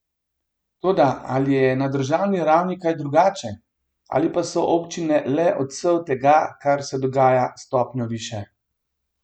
Toda ali je na državni ravni kaj drugače ali pa so občine le odsev tega, kar se dogaja stopnjo više?